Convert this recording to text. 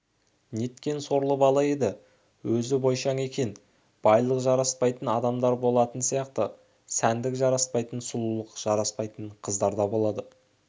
неткен сорлы бала еді өзі бойшаң екен байлық жараспайтын адамдар болатыны сияқты сәндік жараспайтын сұлулық жараспайтын қыздар да болады